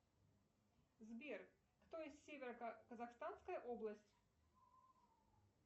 сбер кто из северо казахстанская область